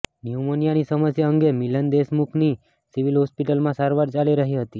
ન્યુમોનિયાની સમસ્યા અંગે મિલન દેશમુખની સિવિલ હોસ્પિટલમાં સારવાર ચાલી રહી હતી